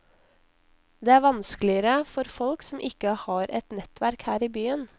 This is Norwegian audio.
Det er vanskeligere for folk som ikke har et nettverk her i byen.